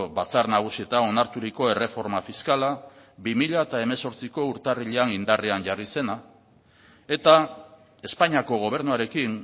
batzar nagusietan onarturiko erreforma fiskala bi mila hemezortziko urtarrilean indarrean jarri zena eta espainiako gobernuarekin